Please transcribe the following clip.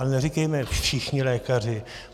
Ale neříkejme všichni lékaři.